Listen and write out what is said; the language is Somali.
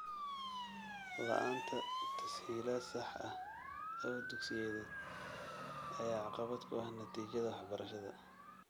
La'aanta tas-hiilaad sax ah oo dugsiyeed ayaa caqabad ku ah natiijada waxbarashada .